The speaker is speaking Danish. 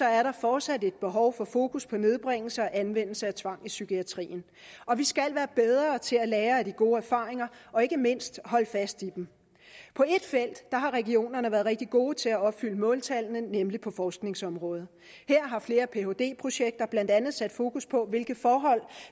er der fortsat et behov for fokus på nedbringelse af anvendelse af tvang i psykiatrien og vi skal være bedre til at lære af de gode erfaringer og ikke mindst at holde fast i dem på ét felt har regionerne været rigtig gode til at opfylde måltallene nemlig på forskningsområdet her har flere phd projekter blandt andet sat fokus på hvilke forhold